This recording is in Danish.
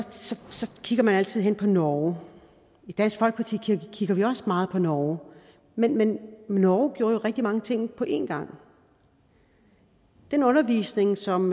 kigger man altid mod norge i dansk folkeparti kigger vi også meget på norge men men norge gjorde rigtig mange ting på en gang den undervisning som